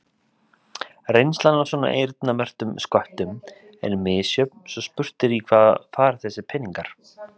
Reynslan af svona eyrnamerktum sköttum er misjöfn svo spurt er í hvað fara þessir peningar?